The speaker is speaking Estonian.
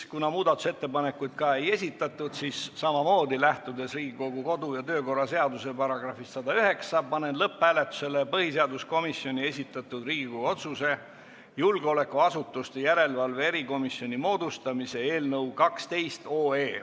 Kuna muudatusettepanekuid ei esitatud, siis samamoodi, lähtudes Riigikogu kodu- ja töökorra seaduse §-st 109, panen lõpphääletusele põhiseaduskomisjoni esitatud Riigikogu otsuse "Julgeolekuasutuste järelevalve erikomisjoni moodustamine" eelnõu .